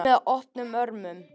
Tekið með opnum örmum